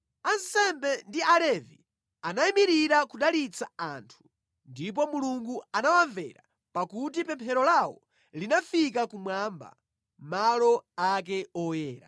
Ansembe ndi Alevi anayimirira kudalitsa anthu, ndipo Mulungu anawamvera pakuti pemphero lawo linafika kumwamba, malo ake oyera.